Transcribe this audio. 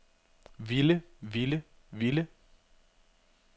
ville ville ville